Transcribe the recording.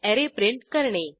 array print करणे